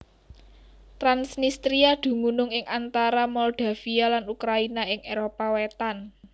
Transnistria dumunung ing antara Moldavia lan Ukraina ing Éropah Wétan